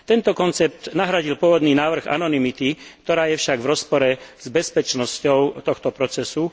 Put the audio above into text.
Tento koncept nahradil pôvodný návrh anonymity, ktorá je však v rozpore s bezpečnosťou tohto procesu.